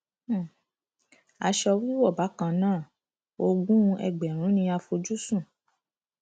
um aṣọ wíwọ bákan náà ogún ẹgbẹrún ni a fojú sùn